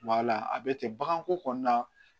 a bɛ ten bagan ko kɔnɔna na